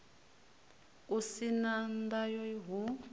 u si na ndayo hu